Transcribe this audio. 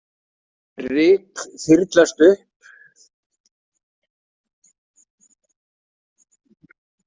Ryk þyrlast upp.